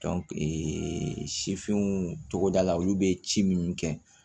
sifinw tɔgɔdala olu bɛ ci minnu kɛ